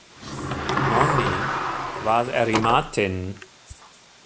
Nonni, hvað er í matinn?